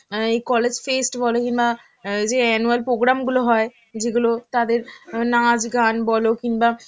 অ্যাঁ এই college fest বল কিংবা অ্যাঁ এইযে annual program গুলো হয়, যেগুলো তাদের নাচ গান বল কিংবা